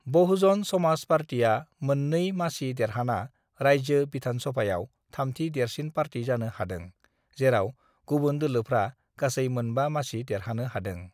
"बहुजन समाज पार्टीआ मोन 2 मासि देराहाना राज्यो विधानसभायाव थामथि देरसिन पार्टी जानो हादों, जेराव गुबुन दोलोफ्रा गासै मोन 5 मासि देरहानो हादों।"